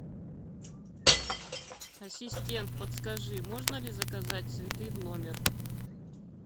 ассистент подскажи можно ли заказать цветы в номер